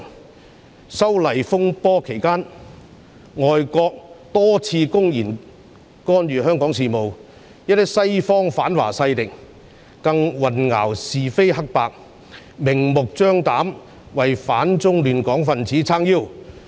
反修例風波期間，外國多次公然干預香港事務，一些西方反華勢力更混淆是非黑白，明目張膽地為反中亂港分子撐腰。